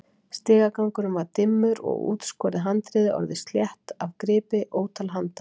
Stigagangurinn var dimmur og útskorið handriðið orðið slétt af gripi ótal handa.